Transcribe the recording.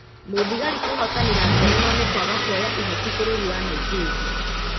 Mũthigari kwĩhotanĩra ngerenwa nĩkwaga kwoya ihaki bũrũri wa Nigeria